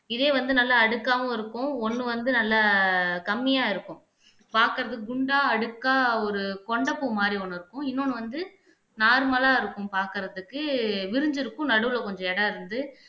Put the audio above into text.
இதே வந்து நல்லா அடுக்காவும் இருக்கும் ஒண்ணு வந்து நல்லா கம்மியா இருக்கும் பாக்குறதுக்கு குண்டா அடுக்கா ஒரு கொண்டைப்பூ மாதிரி ஒண்ணு இருக்கும் இன்னொன்னு வந்து நார்மலா இருக்கும் பாக்குறதுக்கு விரிஞ்சி இருக்கும் நடுவுல கொஞ்சம் இடம் இருந்து